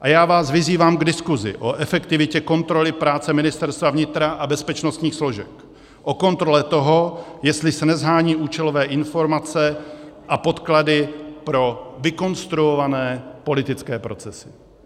A já vás vyzývám k diskusi o efektivitě kontroly práce Ministerstva vnitra a bezpečnostních složek, o kontrole toho, jestli se neshánějí účelové informace a podklady pro vykonstruované politické procesy.